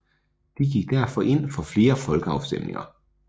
De gik derfor ind for flere folkeafstemninger